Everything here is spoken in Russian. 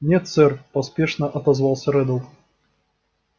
нет сэр поспешно отозвался реддл